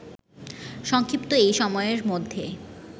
সংক্ষিপ্ত এই সময়ের মধ্যে